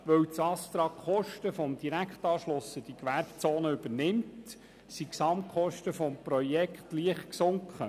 Weil das ASTRA die Kosten des Direktanschlusses an die Gewerbezone übernimmt, sind die Gesamtkosten des Projekts leicht gesunken.